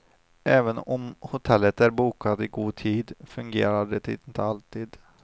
Även om hotellet är bokat i god tid fungerar det inte alltid.